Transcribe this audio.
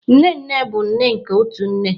Nne nne bụ nne nke otu nne